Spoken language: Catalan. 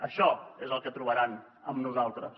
això és el que trobaran amb nosaltres